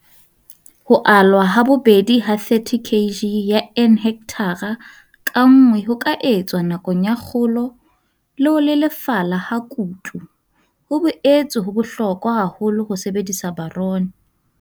Ho alwa ha bobedi ha 30 kg ya N hekthara ka nngwe ho ka etswa nakong ya kgolo le ho lelefala ha kutu. Ho boetse ho bohlokwa haholo ho sebedisa boron.